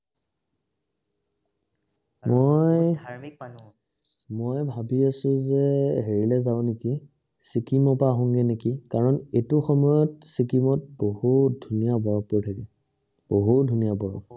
মই মই ভাবি আছোঁ যে এৰি লৈ যাও নেকি চিকিমৰ পৰা আঁহোগে নেকি কাৰণ এইটো সময়ত চিকিমত বহুত ধুনীয়া বৰফ পৰি থাকে বহুত ধুনীয়া বৰফ